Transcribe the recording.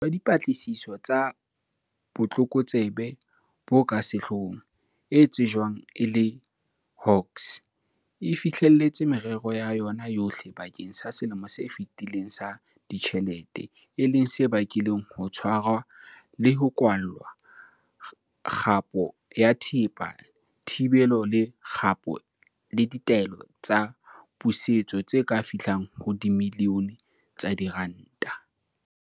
Tsamaiso ya Dipatlisiso tsa Botlokotsebe bo ka Sehloohong, e tsejwang e le Hawks, e fihlelletse merero ya yona yohle bakeng sa selemo se fetileng sa ditjhelete, e leng se bakileng ho tshwarwa le ho kwallwa, kgapo ya thepa, thibelo le kgapo le ditaelo tsa pusetso tse ka fihlang ho dimilione tsa diranta.